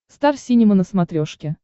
стар синема на смотрешке